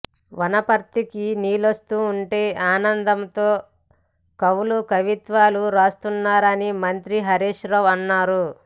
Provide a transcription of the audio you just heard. వనపర్తికి నీళ్లొస్తుంటే ఆనందంతో కవులు కవిత్వాలు రాస్తున్నారని మంత్రి హరీశ్ రావు అన్నారు